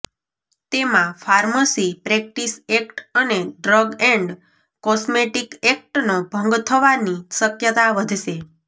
તેમાં pharmacy practice act અને drug and cosmetic એક્ટનો ભંગ થવાની શક્યતા વધશે